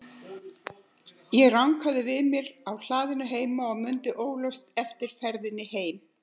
Ég rankaði við mér á hlaðinu heima og mundi óljóst eftir ferðinni heim.